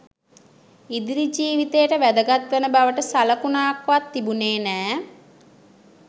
ඉදිරි ජීවිතයට වැදගත්වන බවට සළකුණක් වත් තිබුණෙ නෑ.